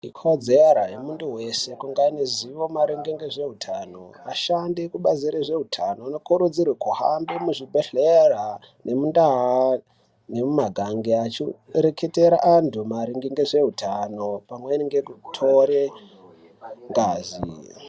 Ikodzero yemuntu wese kunge ane zivo maringe ngezveutano, ashandi ekubazi rezveutano anokurudzirwe kuhambe muzvibhedhlera nemundauu nemumagange achireketera antu maringe ngezveutano pamweni ngekutore ngazi.